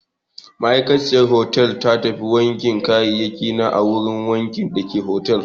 Ma'aikaciyar hotel ta tafi wankin kayayyakina a wurin wankin dake otal.